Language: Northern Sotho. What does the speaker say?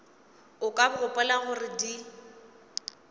o ka gopola gore di